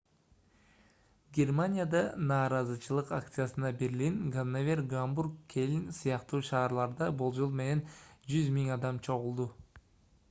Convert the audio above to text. германияда нааразычылык акциясына берлин ганновер гамбург кёльн сыяктуу шаарларда болжол менен 100 000 адам чогулду